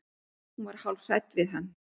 Hún var hálf hrædd við hann.